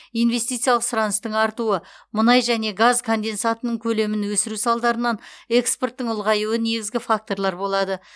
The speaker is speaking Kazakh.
инвестициялық сұраныстың артуы мұнай және газ конденсатының көлемін өсіру салдарынан экспорттың ұлғаюы негізгі факторлар болады